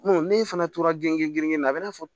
n'e fana tora genge la a bɛ na fɔ